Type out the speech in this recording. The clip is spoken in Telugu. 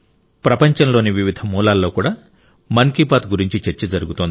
ప్రపంచంలోని వివిధ మూలల్లో కూడా మన్ కీ బాత్ గురించి చర్చ జరుగుతోంది